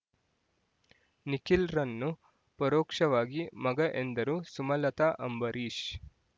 ನಿಖಿಲ್‌ರನ್ನು ಪರೋಕ್ಷವಾಗಿ ಮಗ ಎಂದರು ಸುಮಲತಾ ಅಂಬರೀಶ್